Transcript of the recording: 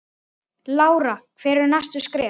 Lára: Hver eru næstu skerf?